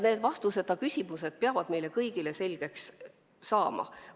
Need küsimused peavad selge vastuse saama.